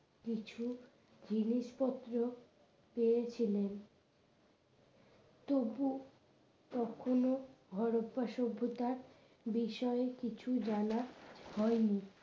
কিছু জিনিসপত্র পেয়েছিলেন তবু কখনো হরপ্পা সভ্যতার বিষয়ে কিছু জানা হয়নি